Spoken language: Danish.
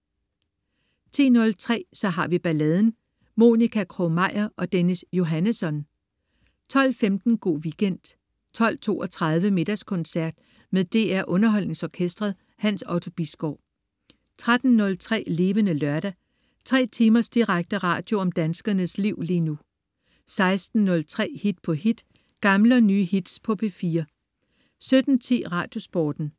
10.03 Så har vi balladen. Monica Krog-Meyer og Dennis Johannesson 12.15 Go' Weekend 12.32 Middagskoncert. Med DR Underholdningsorkestret. Hans Otto Bisgaard 13.03 Levende Lørdag. 3 timers direkte radio om danskernes liv lige nu 16.03 Hit på hit. Gamle og nye hits på P4 17.10 Radiosporten